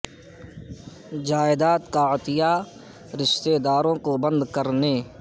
جائیداد کا عطیہ رشتہ داروں کو بند کرنے